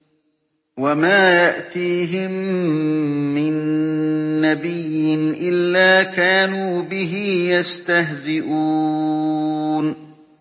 وَمَا يَأْتِيهِم مِّن نَّبِيٍّ إِلَّا كَانُوا بِهِ يَسْتَهْزِئُونَ